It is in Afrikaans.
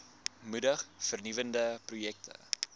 moedig vernuwende projekte